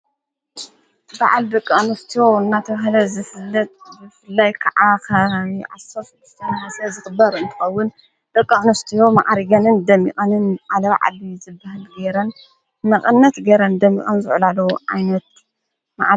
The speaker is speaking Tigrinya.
በዓል ብቕኖስትዎእናተዉሃለት ዘፍለት ብፍላይ ከዓ ኸ ዓሰፍ ድስተን ሓሰ ዝኽበር እንተኸውን በቐዕኑስትዮ መዓሪገንን ደሚቐንን ዓለባዕል ዘብህል ገይረን መቐነት ገይረን ደሚቐን ዘዕላለዉ ዓይነት ።